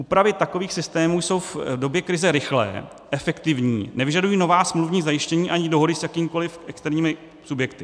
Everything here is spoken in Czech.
Úpravy takových systémů jsou v době krize rychlé, efektivní, nevyžadují nová smluvní zajištění ani dohody s jakýmikoliv externími subjekty.